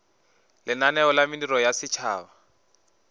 lenaneo la mediro ya setšhaba